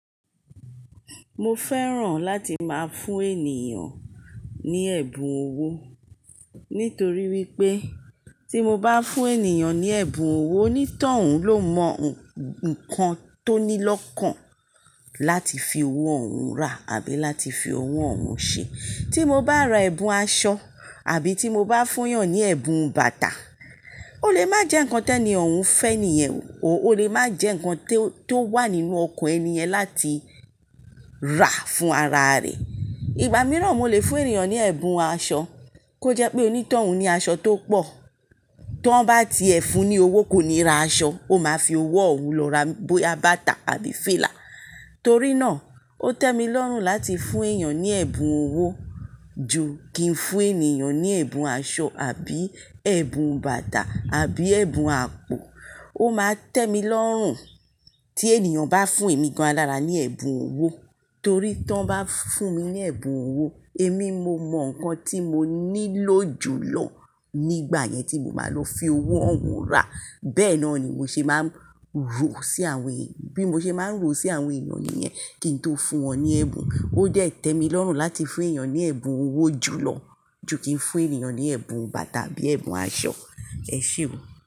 Mo fẹ́ràn láti máa fún ènìyàn ní ẹ̀bùn owó nítorí wípé tí mo bá fún ènìyàn ní ẹ̀bùn owó onítọ̀hún ló mọ ǹkan tó ní lọ́kàn láti fi owó òun rà àbí láti fi owó òun ṣe. Tí mo bá ra ẹ̀bùn aṣọ àbí tí mo bá fúnyàn ní ẹ̀bùn bàtà ó lè má jẹ́ ǹkan tí ènì òun fẹ́ nìyẹn ó lè má jẹ́ ǹkan tó wà nínú ọkàn ènì yen láti rà fún ara rẹ̀. Ìgbà mìíràn mo lè fún ènìyàn ní ẹ̀bùn aṣọ kó jẹ́ pé onítọ̀hún ní aṣọ tó pọ̀ tí wọ́n bá ti ẹ̀ fún un ní owó kó ni ra aṣọ, ó máa fi owó òun lọ ra bóyá bàtà àbí fìlà. Torí náà ó tẹ́ mi lọ́rùn láti fún èèyàn ní ẹ̀bùn owó ju kí n fún ènìyàn ní ẹ̀bùn aṣọ àbí ẹ̀bùn bàtà àbí ẹ̀bùn àpò. Ó máa tẹ́ mi lọ́rùn tí ènìyàn bá fún èmi gan an lára ní ẹ̀bùn owó torí tí wọ́n bá fún mi ní ẹ̀bùn owó èmi mo mọ ǹkan tí mo nílò jù lọ nígbà yẹn tí mo máa lọ fi owó òun rà. Bẹ́ẹ̀ náà ni mo ṣe máa ń ro sí àwọn èyàn, bí mo ṣe máa ń ro sí àwọn èyàn nìyẹn kí n tó fún wọn ní ẹ̀bùn. Ó dẹ tẹ́ mi lọ́rùn láti fún èèyàn ní ẹ̀bùn owó jù lọ ju kí n fún ènìyàn ní ẹ̀bùn bàtà àbí ẹ̀bùn aṣọ. Ẹ ṣé o.